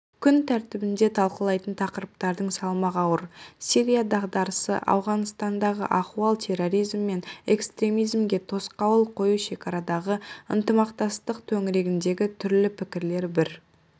күн тәртібінде талқылайтын тақырыптардың салмағы ауыр сирия дағдарысы ауғанстандағы ахуал терроризм мен экстремизмге тосқауыл қою шекарадағы ынтымақтастық төңірегіндегі түрлі пікірлер бір